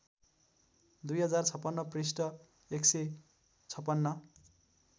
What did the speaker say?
२०५६ पृष्ठ १५६